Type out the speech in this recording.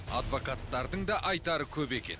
адвокаттардың да айтары көп екен